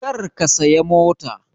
Kar ka saya mota!